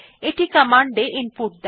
এটি কমান্ড এ ইনপুট দেয়